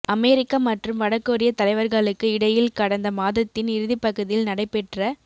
அமெரிக்க மற்றும் வட கொரிய தலைவர்களுக்கு இடையில் கடந்த மாதத்தின் இறுதிப்பகுதியில் நடைபெற்ற